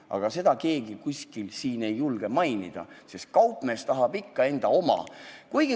Aga seda keegi siin ei julge mainida, sest kaupmees tahab ikka enda oma.